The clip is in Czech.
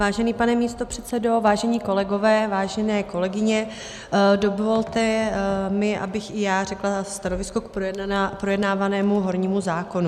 Vážený pane místopředsedo, vážení kolegové, vážené kolegyně, dovolte mi, abych i já řekla stanovisko k projednávanému hornímu zákonu.